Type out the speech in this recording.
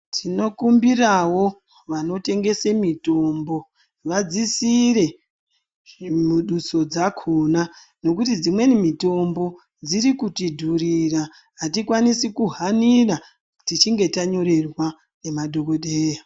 Tinokumbirawo vanotengese mitombo vadzisire muduso dzakona nokuti dzimweni mitombo dzirikutidhurira, hatikwanisi kuhanira tichinge tanyorerwa nemadhogodheya.